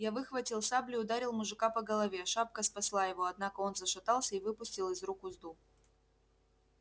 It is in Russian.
я выхватил саблю и ударил мужика по голове шапка спасла его однако он зашатался и выпустил из рук узду